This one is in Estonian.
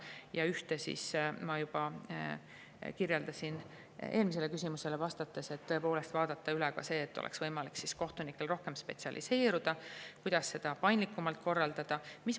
Ja seda ma juba kirjeldasin eelmisele küsimusele vastates, et tõepoolest tuleks vaadata üle ka see, kuidas saaks paindlikumalt korraldada seda, et oleks võimalik kohtunikel rohkem spetsialiseeruda.